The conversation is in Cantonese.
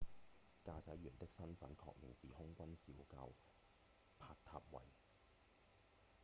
駕駛員的身分確認是空軍少校帕塔維 dilokrit pattavee